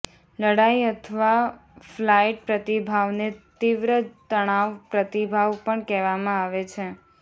લડાઈ અથવા ફ્લાઇટ પ્રતિભાવને તીવ્ર તણાવ પ્રતિભાવ પણ કહેવામાં આવે છે